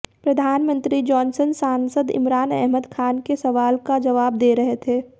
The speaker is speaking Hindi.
प्रधानमंत्री जॉनसन सांसद इमरान अहमद खान के सवाल का जवाब दे रहे थे